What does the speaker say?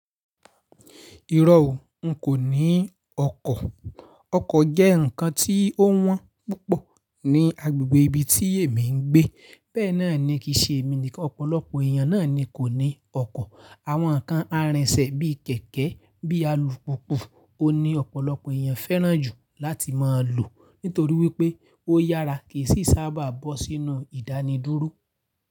Ìrọ̀ ó, n kò ní ọkọ̀. Ọkọ̀ jẹ́ ǹkan tí ó wọ́n púpọ̀ ní agbègbè ibi tí èmi ń gbé. Bẹ́ẹ̀ náà ni kìí ṣe èmi nìkan, ọ̀pọ̀lọpọ̀ èèyàn náà ni kò ní ọkọ̀. Àwọn ǹkan arinṣẹ̀ bí kẹ̀kẹ́, bí alùpùpù ò ní ọ̀pọ̀lọpọ̀ èèyàn fẹ́ràn jù láti máa lò nítorí wípé ó yára kì í sì sábà bọ́ sínú ìdánidúró.